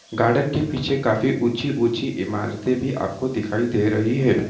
Garden के पीछे काफी ऊँची-ऊँची इमारतें भी आप को दिखाई दे रही है।